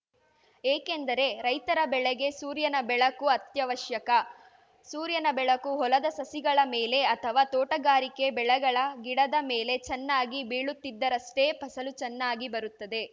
ಏಕೆಂದರೆ ರೈತರ ಬೆಳೆಗೆ ಸೂರ್ಯನ ಬೆಳಕು ಅತ್ಯವಶ್ಯಕ ಸೂರ್ಯನ ಬೆಳಕು ಹೊಲದ ಸಸಿಗಳ ಮೇಲೆ ಅಥವಾ ತೋಟಗಾರಿಕೆ ಬೆಳೆಗಳ ಗಿಡದ ಮೇಲೆ ಚೆನ್ನಾಗಿ ಬೀಳುತ್ತಿದ್ದರಷ್ಟೇ ಫಸಲು ಚೆನ್ನಾಗಿ ಬರುತ್ತದೆ